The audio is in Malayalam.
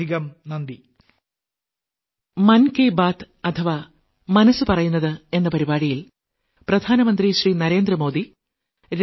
വളരെയധികം നന്ദി